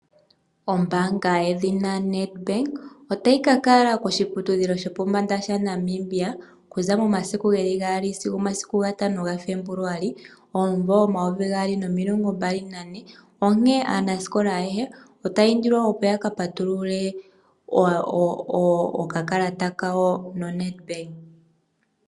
Ombaanga yedhina Nedbank otayi ka kala koshiputudhilo shopombanda shaNamibia okuza momasiku 2 sigo 5 gaFebuluali 2024. Onkene aanasikola ayehe otaya indilwa opo ya ka patulule omayalulo gawo naNedbank.